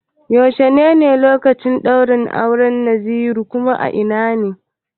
Yaushe ne lokacin ɗaurin auran Nasiru ko a ina ne?